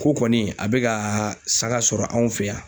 Ko kɔni a be ka sanga sɔrɔ anw fɛ yan.